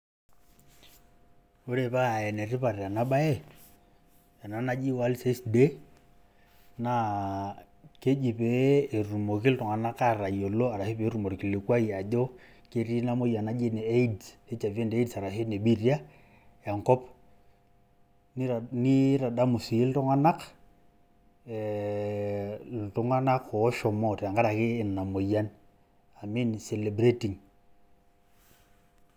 Ore paa enetipat ena baye ena naji world AIDS day naa keji pee etumoki iltung'anak atayiolo arashu peetum orkilikwai ajo ketii ina moyian naji ene AIDS, HIV&AIDS arashu ene biitia enkop nitadamu sii iltung'anak eh, iltung'anak oshomo tenkaraki ina moyian amu ine celebrating.